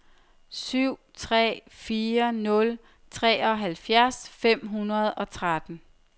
syv tre fire nul treoghalvfjerds fem hundrede og tretten